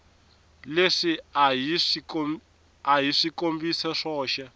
leswi a hi swikombiso swoxe